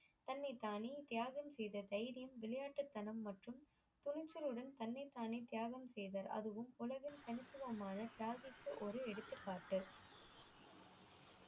தன்னை தானே தியாகம் செய்த தைரியம் விளையாட்டு தனம் மற்றும் திணிச்சளுடன் தன்னை தானே தியாகம் செய்வர் அதுவும் உலகில் கணிசமான ஒரு எடுத்துக்காட்டு